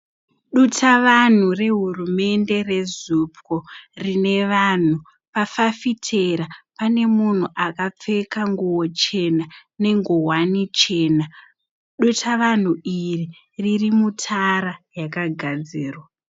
Dutavanhu rehurumende reZUPCO rine vanhu pafafitera pane munhu akapfeka nguwo chena nenguwani chena dutavanhu iri riri mutara yakagadzirwa.